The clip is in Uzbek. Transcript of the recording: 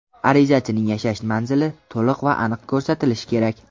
Arizachining yashash manzili to‘liq va aniq ko‘rsatilishi kerak.